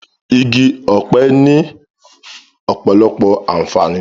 Igi ọ̀pẹ ni ọ̀pọ̀lọpọ̀ àǹfààní